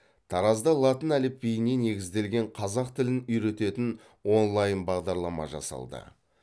таразда латын әліпбиіне негізделген қазақ тілін үйрететін онлайн бағдарлама жасалды